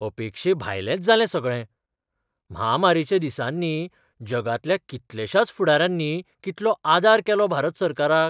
अपेक्षेभायलेंच जालें सगळें. म्हामारीच्या दिसांनी जगांतल्या कितलेशाच फुडाऱ्यांनी कितलो आदार केलो भारत सरकाराक.